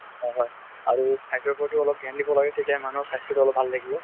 অ হয়, আৰু খাদ্যৰ প্ৰতিও অলপ ধ্যান দিব লাগে তেতিয়া মানুহৰ স্বাস্থ্য টো অলপ ভাল থাকিব।